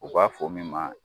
U b'a fɔ min ma